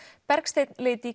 Bergsteinn leit í